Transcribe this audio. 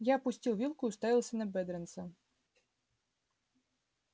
я опустил вилку и уставился на бедренца